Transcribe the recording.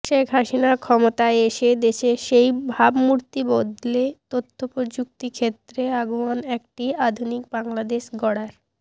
শেখ হাসিনা ক্ষমতায় এসে দেশের সেই ভাবমূর্তি বদলে তথ্যপ্রযুক্তি ক্ষেত্রে আগুয়ান একটি আধুনিক বাংলাদেশ গড়ার